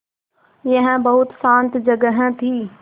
यह बहुत शान्त जगह थी